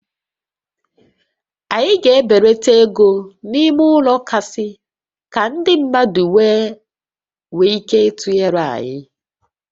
Anyị ga-ebelata égo ímé ụlọ gasị ka ndị mmadụ wee nwee ike ịtụnyere anyị